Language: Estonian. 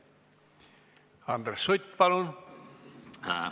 Andres Sutt, palun!